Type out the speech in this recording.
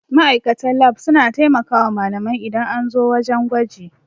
Ma'aikatan lab suna taimakawa malamai idan an zo wajan gwaji